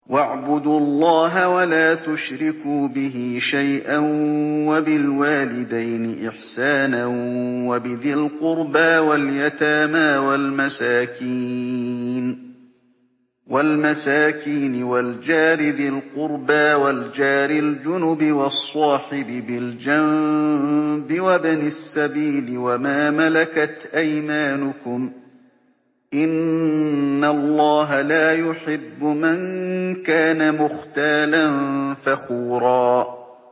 ۞ وَاعْبُدُوا اللَّهَ وَلَا تُشْرِكُوا بِهِ شَيْئًا ۖ وَبِالْوَالِدَيْنِ إِحْسَانًا وَبِذِي الْقُرْبَىٰ وَالْيَتَامَىٰ وَالْمَسَاكِينِ وَالْجَارِ ذِي الْقُرْبَىٰ وَالْجَارِ الْجُنُبِ وَالصَّاحِبِ بِالْجَنبِ وَابْنِ السَّبِيلِ وَمَا مَلَكَتْ أَيْمَانُكُمْ ۗ إِنَّ اللَّهَ لَا يُحِبُّ مَن كَانَ مُخْتَالًا فَخُورًا